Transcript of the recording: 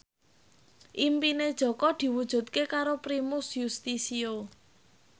impine Jaka diwujudke karo Primus Yustisio